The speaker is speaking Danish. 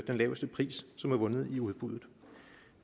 laveste pris som er vundet i udbuddet